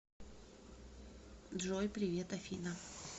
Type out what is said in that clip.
джой привет афина